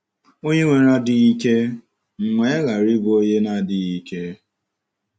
Ònye nwere adịghị ike, m wee ghara ịbụ onye na - adịghị ike?